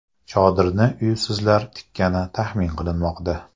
Chodirni uysizlar tikkani taxmin qilinmoqda.